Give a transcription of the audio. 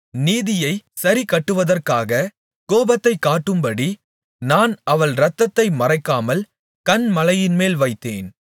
நீதியைச் சரிக்கட்டுவதற்காகக் கோபத்தை காட்டும்படி நான் அவள் இரத்தத்தை மறைக்காமல் கன்மலையின்மேல் வைத்தேன்